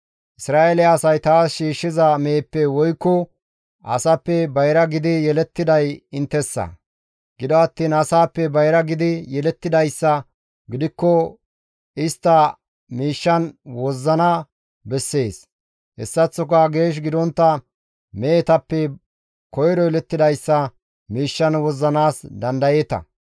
Isra7eele asay taas shiishshiza meheppe woykko asappe bayra gidi yelettiday inttessa; gido attiin asaappe bayra gidi yelettidayssa gidikko istta miishshan wozzana bessees; hessaththoka geesh gidontta mehetappe koyro yelettidayssa miishshan wozzanaas dandayeeta.